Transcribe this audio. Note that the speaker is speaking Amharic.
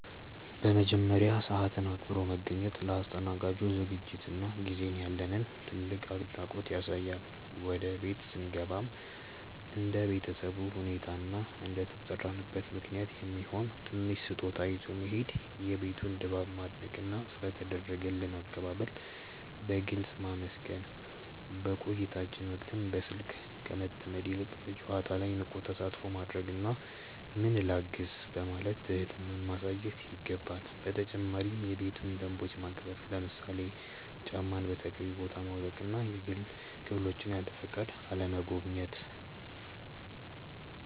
በመጀመሪያ፣ ሰዓትን አክብሮ መገኘት ለአስተናጋጁ ዝግጅትና ጊዜ ያለንን ትልቅ አድናቆት ያሳያል። ወደ ቤት ስንገባም እንደ ቤተሰቡ ሁኔታ እና እንደተጠራንበት ምክንያት የሚሆን ትንሽ ስጦታ ይዞ መሄድ፣ የቤቱን ድባብ ማድነቅና ስለ ተደረገልን አቀባበል በግልጽ ማመስገን። በቆይታችን ወቅትም በስልክ ከመጠመድ ይልቅ በጨዋታው ላይ ንቁ ተሳትፎ ማድረግና "ምን ላግዝ?" በማለት ትህትናን ማሳየት ይገባል። በተጨማሪም የቤቱን ደንቦች ማክበር፣ ለምሳሌ ጫማን በተገቢው ቦታ ማውለቅና የግል ክፍሎችን ያለፈቃድ አለመጎብኘት።